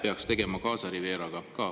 … peaks tegema Gaza Rivieraga?